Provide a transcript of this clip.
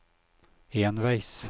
enveis